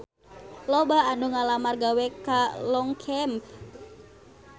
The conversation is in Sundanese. Loba anu ngalamar gawe ka Longchamp